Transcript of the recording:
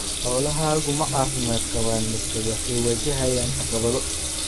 Xoolahaagu ma caafimaad qabaan mise waxay wajahayaan caqabado?